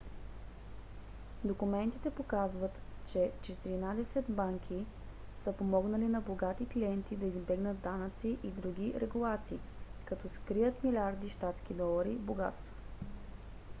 документите показват че четиринадесет банки са помогнали на богати клиенти да избегнат данъци и други регулации като скрият милиарди щатски долари богатство